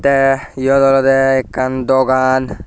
te eyot olode ekkan dogan.